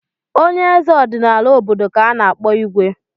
Onye eze ọdịnala obodo ka a na-akpọ Igwe.